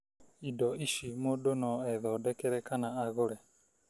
Indo ici mũndũ no ethondekere kana agũre.